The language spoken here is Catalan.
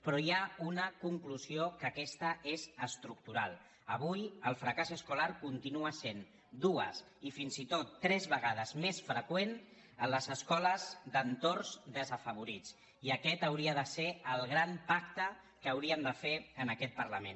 però hi ha una conclusió que aquesta és estructural avui el fracàs escolar continua sent dues i fins i tot tres vegades més freqüent a les escoles d’entorns desafavorits i aquest hauria de ser el gran pacte que hauríem de fer en aquest parlament